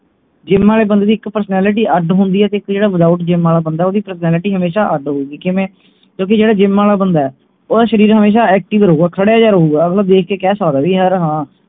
gym ਆਲੇ ਬੰਦੇ ਦੀ ਇਕ personality ਅੱਡ ਹੁੰਦੀ ਹੈ ਤੇ ਜਿਹੜਾ without gym ਆਲਾ ਬੰਦਾ ਓਹਦੀ personality ਹਮੇਸ਼ਾ ਅੱਡ ਹੋਊਗੀ ਕਿਵੇਂ ਕਿਓਂਕਿ ਜਿਹੜਾ gym ਆਲਾ ਬੰਦਾ ਓਹਦਾ ਸ਼ਰੀਰ ਹਮੇਸ਼ਾ active ਰਹੂਗਾ ਖੜਿਆ ਜਿਹਾ ਰਹੂਗਾ